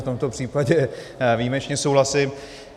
V tomto případě výjimečně souhlasím.